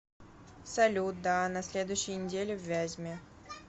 салют да а на следующей неделе в вязьме